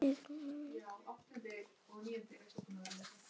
Ganga þá að sólinni vísri.